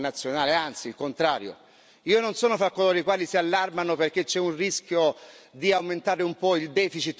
Io non sono fra coloro i quali si allarmano perché c'è un rischio di aumentare un po' il deficit in un momento di difficoltà economica.